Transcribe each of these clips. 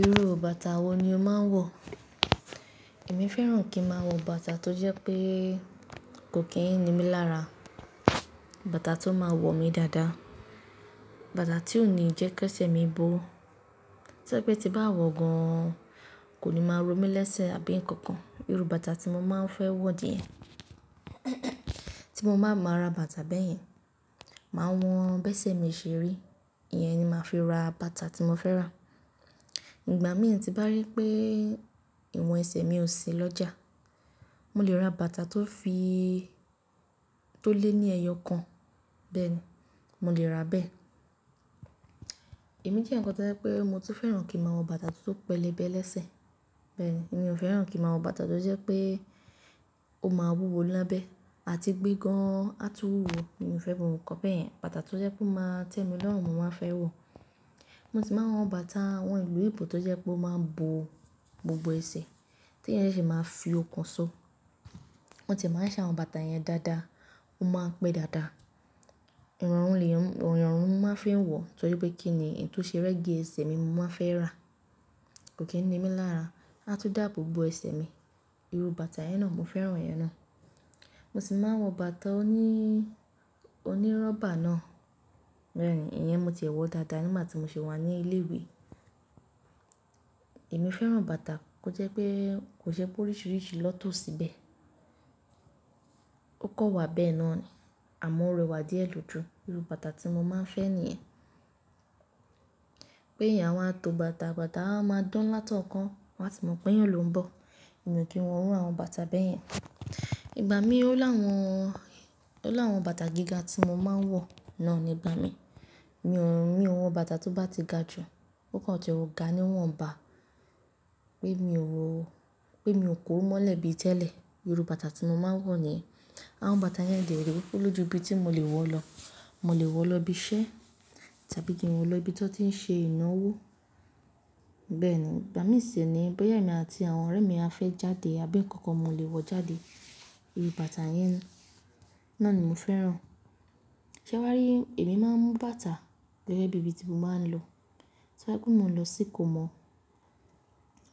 Irú bàtà wo ni o máa ń wọ̀? Èmi fẹ́ràn kí ń máa wọ bàtà tó jẹ́ pé kò kí ń ní mí lára, bàtà tó máa wọ̀ mí dáadáa, bàtà tí ó ní í jẹ́ kí ẹsẹ̀ mi bó. Tojẹ̀ pé tí bá wọ gan-an kò ní máa ro mí lésẹ̀ àbí nǹkan kan. Irú bàtà tí mo máa ń fẹ́ wọ̀ díẹ̀, tí mo bá máa ra bàtà bẹ́ẹ̀ yẹn, màá won bẹ́ṣẹ̀ mi ṣeri, ìyẹn ni màá fi ra bàtà tí mo fẹ́ rà. Ìgbà mìíràn tí bá rí pé ìwọ̀n ẹsẹ̀ mi ò sí lọ́jà, mo lè ra bàtà tó fi- tó lé ní ẹyọ kan. Bẹ́ẹ̀ ni, mo lè ra bẹ́ẹ̀. Èmi jẹ́ ǹkan tí ó jẹ́ pé mo ti fẹ́ràn kí ń máa wọ bàtà tó pẹlẹbẹ lésẹ̀. Bẹ́ẹ̀ ni, èmi ò fẹ́ràn kí ń máa wọ bàtà tó jẹ́ pé ó máa wúwo lábẹ́ àti gbé gan-an á tú wúwo. Èmi ò fẹ́ gbogbi nkan bẹ́yen. Bàtà tó jẹ́ pé ó máa tẹ́mi lọ́rùn, mo máa fẹ́ wọ̀. Mo sì máa ń wọ bàtà àwọn ìlú èbó tó jẹ́ pé ó máa ń bo gbogbo ẹsẹ̀ tí ẹni yẹn sì máa ń fi okùn so. Wọ́n tìe máa ń ṣe àwọn bàtà yẹn dáadáa, ó máa ń pẹ́ dáadáa. Ìrọ̀rùn lèyan, irọ̀rùn mo máa ń fi wọ̀ torí pé kí ni ìtóṣeré gi ẹsẹ̀ mi mo máa fẹ́ rà. Kò kí ń ní mí lára, á tún dà abo bo ẹsẹ̀ mi. Irú bàtà yẹn náà mo fẹ́ràn yẹn náà. Mo sì máa ń wọ bàtà oní- onírọ́bà náà. Bẹ́ẹ̀ ni, ìyẹn mo ti wọ dáadáa nígbà tí mo ṣi wà ní ilé ìwé. Èmi fẹ́ràn bàtà kó jẹ́ pé kò je pé ó rìṣìrìṣi na to síbẹ̀. Ó kan wà bẹ́ẹ̀ náà ni àmọ́ ó rẹwà díẹ̀ lójú. Irú bàtà tí mo máa ń fẹ́ nìyẹn. Pé eyẹn awa tó bàtà, bàtà á máa dán láti ọ̀kan, wọ́n á tì mọ̀ pé eyán ló ń bọ̀. Èmi ò kí ń wọ iru àwọn bàtà bẹ́ẹ̀ yẹn. Ìgbà mí ó láwọn, ó láwọn bàtà gíga tí mo máa ń wọ̀ náà ni ìgbà mí. Mi ò, mi ò wọ bàtà tó bá ti ga ju, ó kàn je ó ga níwọ̀n bá pé mi ò wọ ó, pé mi ò kuru mọ́lẹ̀ bíi tẹ́lẹ̀. Irú bàtà tí mo máa ń wọ̀ ni. Àwọn bàtà yẹn de re olójú ibi tí mo lè wọ̀ lọ. Mo lè wọ̀ lọ ibi iṣẹ́ tàbí kí n wọ̀ lọ ibi tí wọ́n tí ń ṣe ìnáwó. Bẹ́ẹ̀ ni, ìgbà mìíràn sì ni boya emi àti àwọn ọ̀rẹ́ mi a fẹ́ jáde, abi nkankan mo lè wọ̀ jáde. Irú bàtà yẹn náà ni mo fẹ́ràn. Ṣé wà á rí èmi máa ń mú bàtà gẹ́gẹ́ bí ibi tí mo bá ń lọ. Tí obá jepe mo lọ sí ìkómọ̀,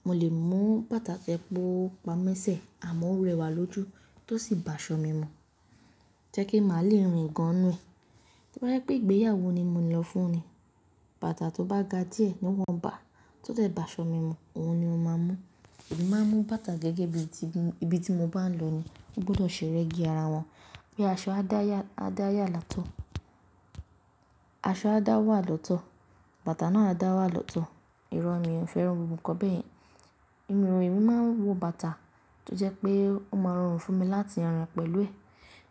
mo lè mú bàtà tẹ́ pó pamẹ́sẹ̀ àmọ́ ó rẹwà lójú tó sì bà aṣọ mí mọ̀. Ti o jepe màá le rìn gan-an nu ẹ̀. Ti obà jepé ìgbéyàwó ni mo ní lọ fún ni, bàtà tó bá ga díẹ̀ níwọ̀n bá, tó de bà aṣọ mí mọ̀, òun ni mo máa mú. Èmi máa ń mú bàtà gẹ́gẹ́ bí i tí ibi tí mo bá ń lọ ni. Ó gbọdọ̀ ṣe rẹ́gí ara wọn pé aṣọ á dáyà- á dáyà látọ̀, aṣọ á dá wà lọ́tọ̀, bàtà náà á dá wà lọ́tọ̀. Irọ́ mi ò fẹ́ràn ohun kan bẹ́yẹ̀n. Ìrọ̀rùn èmi máa ń wọ bàtà tó jẹ́ pé ó máa rọrùn fún mi láti ràn pẹ̀lú ẹ.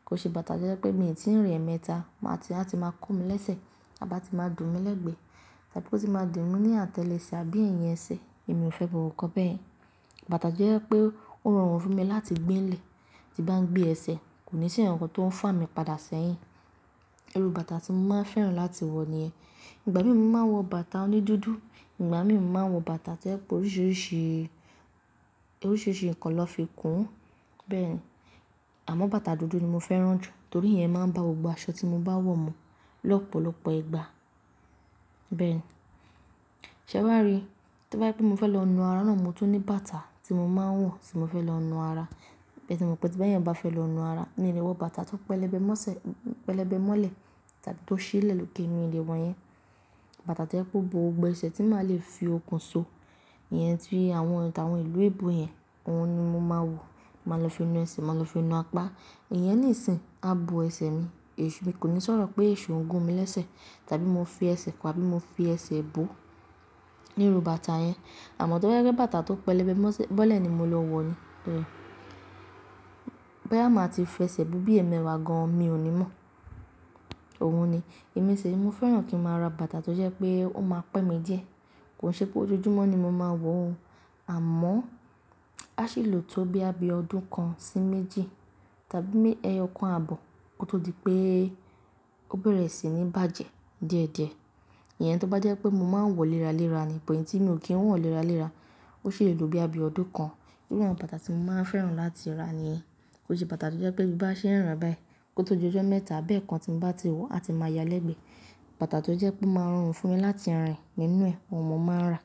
Ki ṣe bàtà tó jẹ́ pé mi ò tíì rín ẹ̀mẹ́ta, máa tí í, a ti máa kó mi lésẹ̀ tàbí a ti máa dùn mí lẹ́gbẹ̀ẹ́ tàbí kó sì máa dùn mí ní àtẹ́lẹsẹ̀ àbí ẹ̀yìn ẹsẹ̀. Èmi ò fẹ́ gbogbo nkan bẹ̀yen. Bàtà tó jẹ́ pé ó rọrùn fún mi láti gbé n lè, tí bá ń gbé ẹsẹ̀ kò ní sì ǹkankan tó ń fà mí padà sẹ́yìn. Irú bàtà tí mo máa ń fẹ́ràn láti wọ̀ niyen. Ìgbà mìíràn mo màá n wọ bàtà onídúdú, ìgbà mìíràn mo màá n wọ bàtà ti o jepe oríṣìíríṣìí, oríṣìíríṣìí ǹkan ni won fi kún. Bẹ́ẹ̀ ni, àmọ́ bàtà dúdú ni mo fẹ́ràn jù torí ìyẹn máa ń ba gbogbo aṣọ tí mo bá wọ̀ mu lọ́pọ̀lọpọ̀ ìgbà. Bẹ́ẹ̀ ni. Ṣé wà rí ti obajepé mo fẹ́ lọ nu ara náà, mo tún ní bàtà tí mo máa ń wọ̀ tí mo fẹ́ lọ nu ara. Se emọ̀ pé tí eyan bá fẹ́ lọ nu ara, mi ò lè wọ bàtà tó pẹlẹbẹ mọ́ṣẹ́, pẹlẹbẹ mọ́lẹ̀ tàbí tó ṣí lẹ̀ lóke mi o lé wọn yẹn. Bàtà tó jẹ pe ó bo gbogbo ẹsẹ̀ tí màá le fi okùn so, ìyẹn tí àwọn, àwọn ìlú èbó yẹn, òun ni mo máa wọ̀. Mo máa lọ fi nu ẹsẹ̀, mo máa lọ fi nu apá. Ìyẹn níìsín a bo ẹsẹ̀ mi, èṣù mi kò ní sọ̀rọ̀ pé èṣo ń gun mí lésẹ̀ tàbí mo fi ẹsẹ̀ kọ́ àbí mo fi ẹsẹ̀ bò. Ni irú bàtà yẹn. Àmọ́ tó je pe bàtà tó pẹlẹbẹ mọ́ṣẹ́ bọ́lẹ̀ ni mo lọ wọ̀ ni. Bẹ́ẹ̀ ni. Bá máa ti fi ẹsẹ̀ bo bí i ẹmẹwa gan-an mi ò ní mọ̀. Òun ni. Èmi sì ni mo fẹ́ràn kí ń máa ra bàtà tó jẹ́ pé ó máa pẹ́ mi díẹ̀. Kò ṣe pé ojojúmọ́ ni mo máa wọ̀ o àmọ́ a sì lò tó boya bí ọ̀dún kan sí méjì tàbí ẹyọ kan àbọ̀ kó tó di pé ó bẹ̀rẹ̀ sí ní bàjẹ́ die die. Ìyẹn tó bá jẹ́ pé mo máa ń wọ̀ léra léra ni, but iyi tí mi ò kí ń wọ̀n léra léra, ó ṣi le lo boya bi ọ̀dún kan. Irú àwọn bàtà tí mo máa ń fẹ́ràn láti rà ni. Kò ṣe bàtà tó jẹ́ pé bí bá ṣe ń ràn báyìí kó tó ojó mẹ́ta àbẹ́ẹ̀kan tí mo bá ti wọ̀ a ti máa ya lẹ́gbẹ̀ẹ́. Bàtà tó jẹ́ pé ó máa rọrùn fún mi láti rìn nínú ẹ, òun mo máa ń rà.